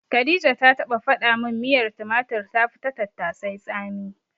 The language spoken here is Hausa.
Khadija ta taɓa faɗa min miyar tumatir tafi ta tattasai tsami.